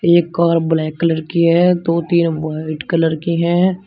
एक car black colour की है दो तीन व्हाइट कलर की है।